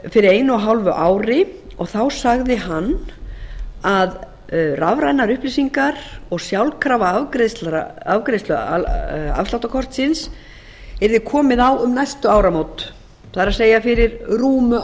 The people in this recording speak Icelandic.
fyrir einu og hálfu ári og þá sagði hann að rafrænar upplýsingar og sjálfkrafa afgreiðsla afsláttarkortsins yrði komið á um næstu áramót það er fyrir rúmu ári síðan það er sem sagt